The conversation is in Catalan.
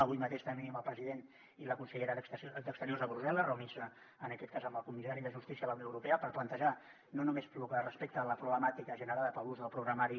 avui mateix tenim el president i la consellera d’exteriors a brussel·les reunint se en aquest cas amb el comissari de justícia de la unió europea per plantejar no només lo que respecta a la problemàtica generada per l’ús del programari